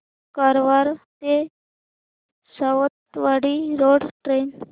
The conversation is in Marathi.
कारवार ते सावंतवाडी रोड ट्रेन